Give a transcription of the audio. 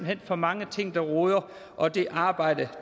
hen for mange ting der roder og det arbejde